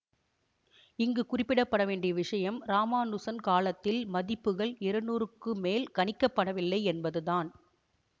இங்கு குறிப்பிடப்படவேண்டிய விஷயம் இராமானுசன் காலத்தில் மதிப்புகள் இருநூறுக்குமேல் கணிக்கப்படவில்லை என்பதுதான்